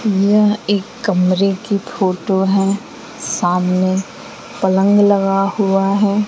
यह एक कमरे की फोटो है सामने पलंग लगा हुआ है।